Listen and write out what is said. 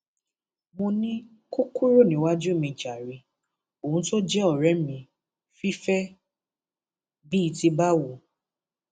mo ní kó kúrò níwájú mi jàre òun tó jẹ ọrẹ mi fìfẹ bíi ti báwo